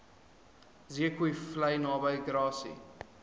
zeekoevlei naby grassy